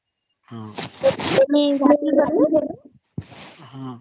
Not Audible